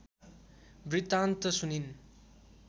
वृत्तान्त सुनिन्